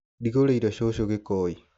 Ndĩgũrĩire cũcũ gĩkoi.